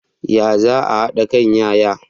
Ya za a hada kan yaya?